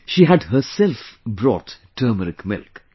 She had herself brought turmeric milk